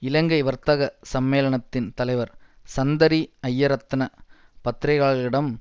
இலங்கை வர்த்தக சம்மேளனத்தின் தலைவர் சந்தரி ஜயரத்ன பத்திரிகையாளர்களிடம்